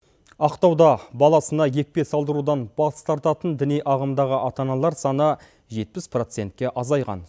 ақтауда баласына екпе салдырудан бас тартатын діни ағымдағы ата аналар саны жетпіс процентке азайған